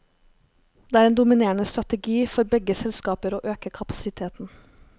Det er en dominerende strategi for begge selskaper å øke kapasiteten.